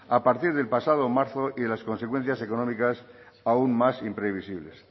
a partir del pasado marzo y de las consecuencias económicas aún más imprevisibles